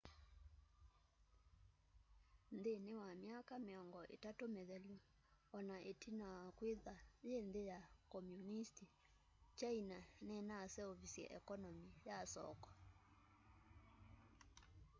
nthînî wa myaka mîongo îtatû mîthelu ona itina wa kwîthwa yî nthî ya komunisti kyaina ninaseuvisye ekonomi ya soko